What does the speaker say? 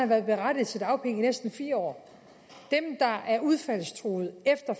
været berettiget til dagpenge i næsten fire år dem der er udfaldstruede efter